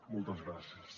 moltes gràcies